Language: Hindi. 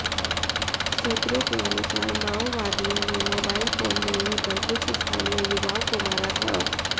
सूत्रों के अनुसार माओवादियों ने मोबाइल फोन मिलने पर कुछ स्थानीय युवाओं को मारा था